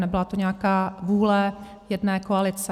Nebyla to nějaká vůle jedné koalice.